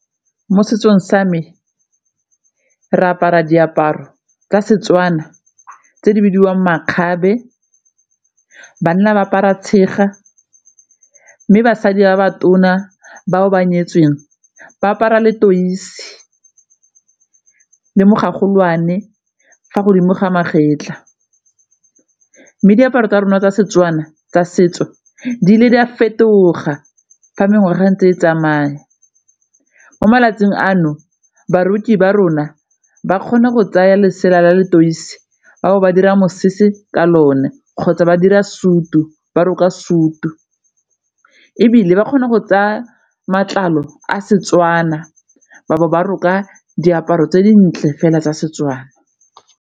Mo setsong sa me re apara diaparo tsa Setswana tse di bidiwang makgabe, banna ba apara tshega mme basadi ba ba tona ba o ba nyetsweng ba apara letoisi le mogolwane fa godimo ga magetla mme diaparo tsa rona tsa Setswana tsa setso di le di a fetoga fa mengwaga ntse e tsamaya. Mo malatsing ano ba rona ba kgona go tsaya lesela la letoisi ba bo ba dira mosese ka lone kgotsa ba dira sutu ba roka sutu ebile ba kgona go tsaya matlalo a Setswana ba bo ba roka diaparo tse dintle fela tsa Setswana.